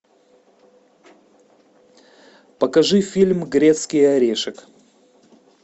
покажи фильм грецкий орешек